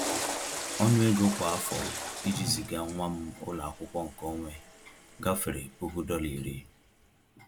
Ọnụ ego kwa afọ iji ziga nwa m ụlọ akwụkwọ nke onwe gafere puku dọla iri ($10,000)